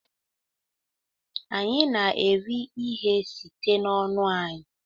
Anyị na-eri ihe site n'ọnụ anyị